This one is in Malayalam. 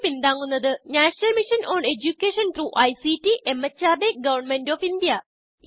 ഇതിനെ പിന്താങ്ങുന്നത് national mission on education through ICT MHRD government of India